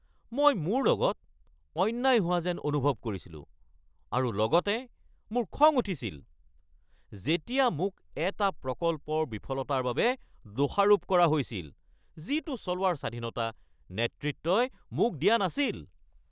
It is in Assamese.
মই মোৰ লগত অন্যায় হোৱা যেন অনুভৱ কৰিছিলো আৰু লগতে মোৰ খং উঠিছিল যেতিয়া মোক এটা প্ৰকল্পৰ বিফলতাৰ বাবে দোষাৰোপ কৰা হৈছিল যিটো চলোৱাৰ স্বাধীনতা নেতৃত্বই মোক দিয়া নাছিল।